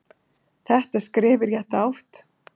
Þetta er skref í rétta átt.